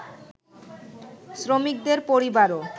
শ্রমিকদের পরিবারও